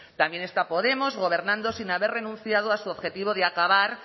también está podemos gobernando sin haber renunciado a su objetivo de acabar